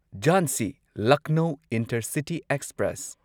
Jhansi Lucknow intercity express